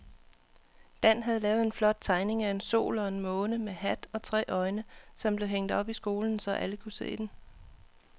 Dan havde lavet en flot tegning af en sol og en måne med hat og tre øjne, som blev hængt op i skolen, så alle kunne se den.